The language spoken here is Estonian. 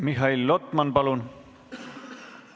Mihhail Lotman, palun!